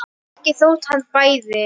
Ekki þótt hann bæði.